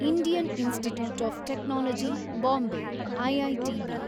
Indian Institute of Technology Bombay, IITB